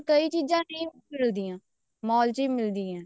ਕਈ ਚੀਜ਼ਾਂ ਨਹੀਂ ਮਿਲਦੀਆਂ mall ਚ ਹੀ ਮਿਲਦੀਆਂ